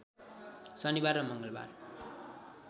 शनिबार र मङ्गलबार